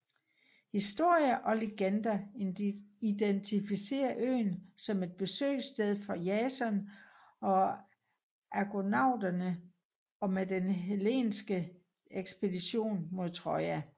Historier og legender identificerer øen som et besøgssted for Jason og argonauterne og med den hellenske ekspedition mod Troja